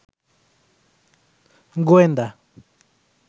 গোয়েন্দা